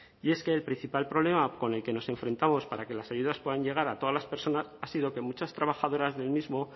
y es que el principal problema con el que nos enfrentamos para que las ayudas puedan llegar a todas las personas ha sido que muchas trabajadoras del mismo